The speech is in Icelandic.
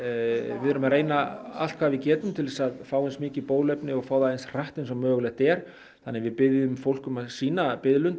við erum að reyna allt hvað við getum til þess að fá eins mikið bóluefni og fá það eins hratt og mögulegt er þannig að við biðjum fólk um að sýna biðlund